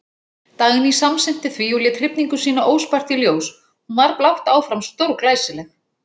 Dagný samsinnti því og lét hrifningu sína óspart í ljós, hún var blátt áfram stórglæsileg.